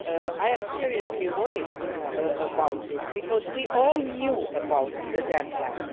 year. I am seriously worried about this, because we all knew about the deadline.